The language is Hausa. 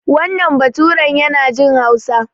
Wannan baturan yana jin Hausa.